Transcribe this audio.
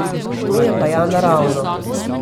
To je pa ja naravno.